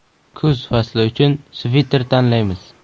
Kuz fasli uchun sviter tanlaymiz.